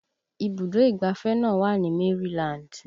Ibùdó ìgbáfẹ́ náà wà ní Maryland